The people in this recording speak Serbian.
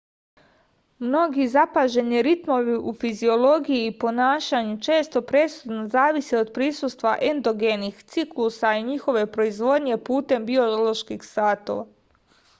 mnogi zapaženi ritmovi u fiziologiji i ponašanju često presudno zavise od prisustva endogenih ciklusa i njihove proizvodnje putem bioloških satova